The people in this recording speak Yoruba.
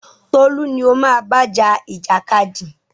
Tolú ni o máa bá ja ìjàkadì!